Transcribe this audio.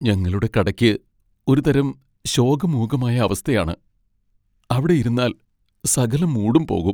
ഞങ്ങളുടെ കടയ്ക്ക് ഒരു തരം ശോകമൂകമായ അവസ്ഥയാണ്. അവിടെ ഇരുന്നാൽ സകല മൂഡും പോകും.